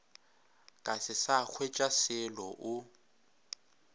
ka se sa hwetšaselo o